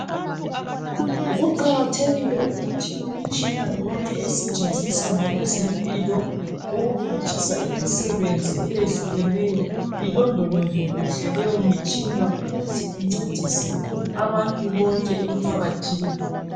Kuqakathekile ukuthi imitshina yonke esetshenziswa ngabezempilo ukuphutshisa imisebenzi ieyehlukeneyo ilondolozwe kuhle leyomtshina ukuze incedise abantu bonke emphakathini.